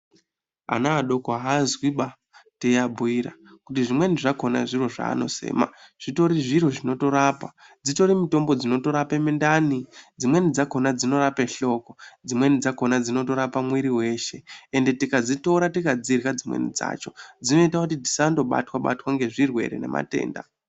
Ana adoko avazwiba teyiabhuyira kuti zvimweni zvakona zvaanosema zvitori zviro zvinorapa. Dzitori mutombo dzinorape mundani, dzimweni dzakona dzinorape hloko, dzimweni dzakhona dzinotorape mwiri weshe ende tikadzitora tikadzirya dzimweni dzacho dzinoita kuti tisangobatwa batwa ngezvirwere ngematenda.